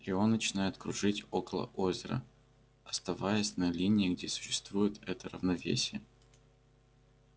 и он начинает кружить около озера оставаясь на линии где существует это равновесие